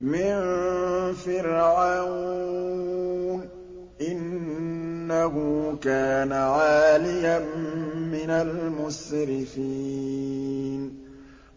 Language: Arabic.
مِن فِرْعَوْنَ ۚ إِنَّهُ كَانَ عَالِيًا مِّنَ الْمُسْرِفِينَ